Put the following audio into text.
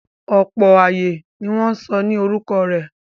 Ọ̀pọ̀ ààyè ni wọ́n sọ ní orúkọ rẹ̀.